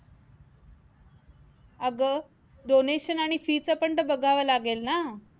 अगं donation आणि fee च पण तर बघावे लागेल ना